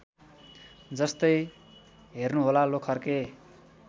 जस्तै हेर्नुहोला लोखर्के